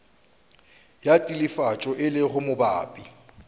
ya telefatšo e lego mabapi